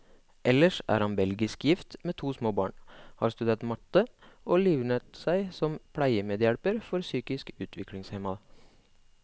Ellers er han belgisk gift, med to små barn, har studert matte, og livnært seg som pleiemedhjelper for psykisk utviklingshemmede.